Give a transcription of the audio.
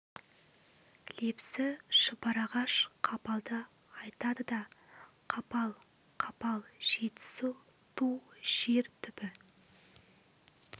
лепсі шұбарағаш қапалды айтады да да қапал қапал жетісу ту жер түбі